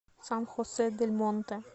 сан хосе дель монте